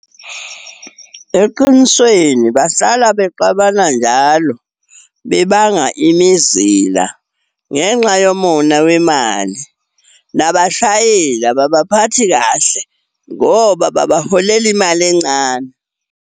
Eqinisweni bahlala bexabana njalo, bebanga imizila ngenxa yomona wemali. Nabashayeli ababaphathi kahle, ngoba babaholela imali encane.